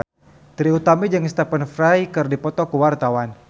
Trie Utami jeung Stephen Fry keur dipoto ku wartawan